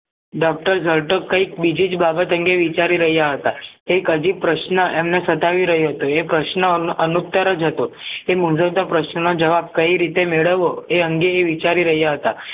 doctor જરતોક કૈક બીજીજ બાબત અંગે વિચારી રહ્યા હતા એક અધિક પ્રશ્ન એમને સતાવી રહ્યો હતો એ પ્રશ્ન અનઉત્તર જ હતો એ મુંજવતા પ્રશ્ન ના જવાબ કઈ મેળવવો એ અંગે એ વિચારી રહ્યાં હતા